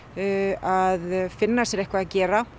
að finna sér eitthvað að gera